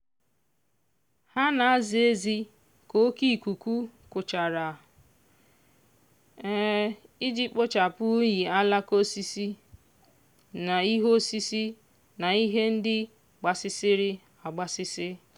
ha na-aza ezi ka oke ikuku kuchara iji kpochapụ unyi alaka osisi na ihe osisi na ihe ndị gbasasịrị agbasasị.